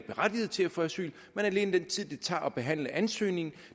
berettiget til at få asyl men alene den tid det tager at behandle ansøgningen